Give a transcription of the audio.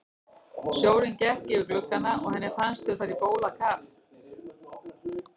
Sjórinn gekk yfir gluggana og henni fannst þau fara á bólakaf.